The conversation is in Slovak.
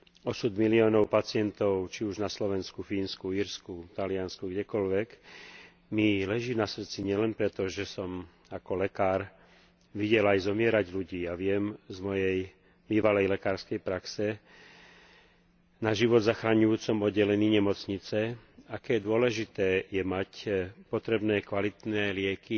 Osud miliónov pacientov, či už na Slovensku, Fínsku, Írsku, Taliansku, kdekoľvek, mi leží na srdci nielen preto, že som ako lekár videl aj zomierať ľudí a viem zo svojej bývalej lekárskej praxe na život zachraňujúcom oddelení nemocnice, aké dôležité je mať potrebné kvalitné lieky